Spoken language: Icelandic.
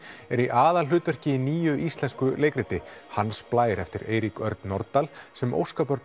er í aðalhlutverki í nýju íslensku leikriti Hans Blær eftir Eirík Örn Norðdahl sem